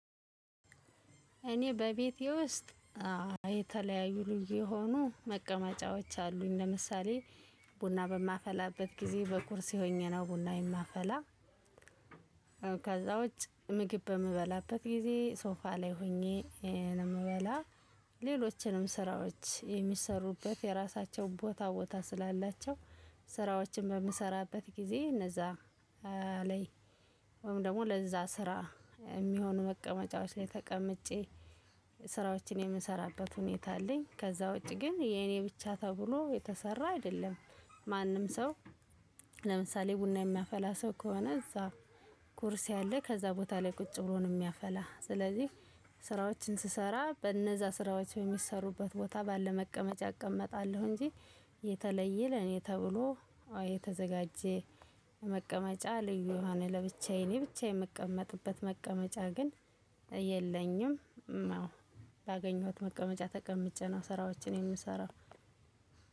እኔ በቤቴ ውስጥ የተለያዩ ልዩ የሆኑ መቀመጫዎች አሉኝ ለምሳሌ ቡና በማፈላበት ጊዜ በኩርሲ ሆኘነው ቡናዬን ማፈላ። ከዛ ውጭ ምግብ በምበላበት ጊዜ ሶፋ ላይ ሆኜ ነውየምበላ። ሌሎችንም ስራዎች የሚሰሩበት የራሳቸውን ቦታ ቦታ ስላላቸው ስራዎችን በምሰራበት ጊዜ እነዛ ላይ ወይም ደግሞ ለዛ ስራ የሚሆኑ መቀመጫዎች ላይ ተቀምጬ ስራዎችን የምንሰራበት ሁኔታ አለኝ። ከዛ ውጪ ግን የኔ ብቻ ተብሎ የተሰራ አይደለም። ማንም ሰው ለምሳሌ ቡና የሚያፈላ ሰው ከሆነ እዛ ኩርሲ አለ ከዛ ቦታ ላይ ቁጭ ብሎ ነው የሚያፈላ። ስለዚህ ስራዎችን ስሰራ በነዛ ስራዎች በሚሰሩበት ቦታ ባለ መቀመጫ እቀመጣለሁ። እንጂ የተለየ ለኔ ተብሎ አዎ የተዘጋጀ መቀመጫ ልዩ ለብቻዬ እኔ ብቻ የምቀመጥበት መቀመጫ ግን የለኝም። ባገኘሁት መቀመጫ ተቀምጬ ነው ስራዎችን የምሰራው።